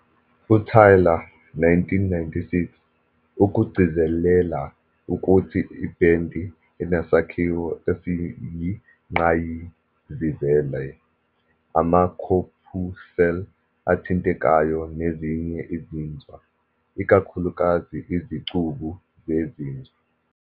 UTaylor, 1996, ukugcizelela ukuthi "ibhendi enesakhiwo esiyingqayizivele, ama-corpuscle athintekayo nezinye izinzwa, ikakhulukazi izicubu zezinzwa".